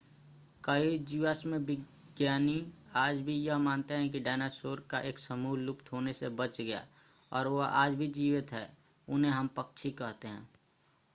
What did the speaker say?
कई जीवाश्म विज्ञानी आज भी यह मानते हैं कि डायनासोर का एक समूह लुप्त होने से बच गया और वह आज भी जीवित है उन्हें हम पक्षी कहते हैं